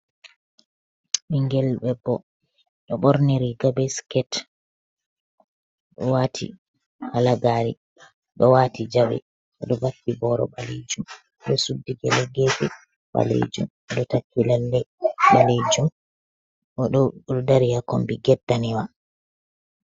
Ɓingel debbo ɗo born riga be sket ɗo wati halagari, ɗo wati jawe, ɗo vakki boro balijum, ɗo suddi gele gefe ballejum ɗo taki lalle ɓalejum o ɗo do dari ha kombi ged danejum.